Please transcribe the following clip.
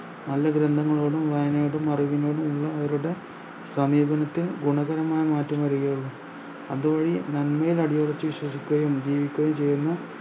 നല്ല ഗ്രന്ദങ്ങളോടും വായനയോടും അറിവിനോടും ഉള്ള അവരുടെ സമീപനത്തിൽ ഗുണകരമായ മാറ്റം വരുകയുള്ളു നമ്മെ പടിയടച്ച് വിശ്വസിക്കുകയും ജീവിക്കുകയും ചെയ്യുന്ന